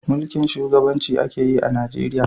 Mulkin shugabanci a ke yi a Najeriya